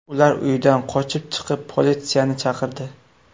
Ular uydan qochib chiqib, politsiyani chaqirdi.